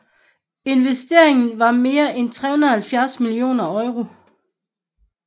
Investeringen var mere end 370 millioner Euro